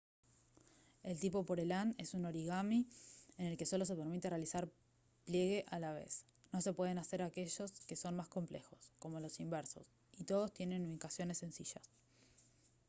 el tipo pureland es un origami en el que solo se permite realizar pliegue a la vez no se pueden hacer aquellos que son más complejos como los inversos y todos tienen ubicaciones sencillas